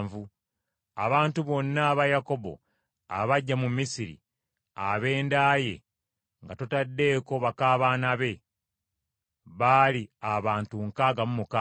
Abantu bonna aba Yakobo abajja mu Misiri, ab’enda ye nga totaddeeko baka baana be, baali abantu nkaaga mu mukaaga.